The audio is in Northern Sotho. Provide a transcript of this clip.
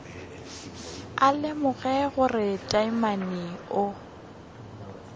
a lemogile gore taamane o